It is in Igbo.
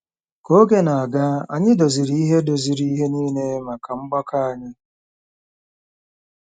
Ka oge na-aga, anyị doziri ihe doziri ihe nile maka mgbakọ anyị.